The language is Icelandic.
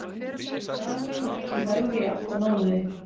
Dalurinn ekki lægri í átta mánuði